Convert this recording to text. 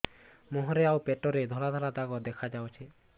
ମୁହଁରେ ଆଉ ପେଟରେ ଧଳା ଧଳା ଦାଗ ଦେଖାଯାଉଛି